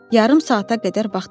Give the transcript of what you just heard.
Yarım saata qədər vaxt keçdi.